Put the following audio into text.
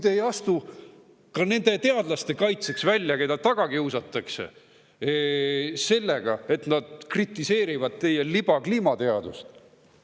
Te ei astu välja ka nende teadlaste kaitseks, keda taga kiusatakse sellega, kui nad kritiseerivad teie libakliimateadust.